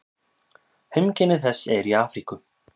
Heimkynni þess eru í Afríku.